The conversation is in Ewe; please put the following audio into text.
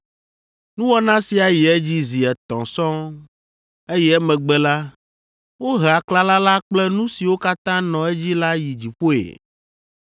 “Nuwɔna sia yi edzi zi etɔ̃ sɔŋ, eye emegbe la, wohe aklala la kple nu siwo katã nɔ edzi la yi dziƒoe.